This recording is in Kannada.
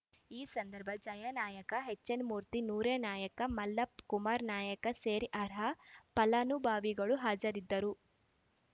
ಈ ಸಂದರ್ಭದಲ್ಲಿ ಜಯಾನಾಯ್ಕ ಎಚ್‌ಎನ್‌ಮೂರ್ತಿ ನೂರ್ಯಾನಾಯ್ಕ ಮಲ್ಲಪ್ಪ ಕುಮಾರನಾಯ್ಕ ಸೇರಿ ಅರ್ಹ ಫಲಾನುಭವಿಗಳು ಹಾಜರಿದ್ದರು